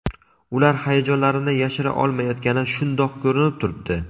Ular hayajonlarini yashira olmayotgani shundoq ko‘rinib turibdi.